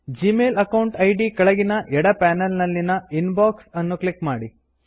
Gmail account ಇದ್ ಕೆಳಗಿನ ಎಡ ಪನೆಲ್ ನಲ್ಲಿನ ಇನ್ಬಾಕ್ಸ್ ಅನ್ನು ಕ್ಲಿಕ್ ಮಾಡಿ